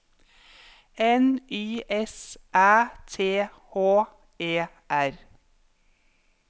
N Y S Æ T H E R